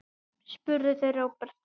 spurðu þau Róbert.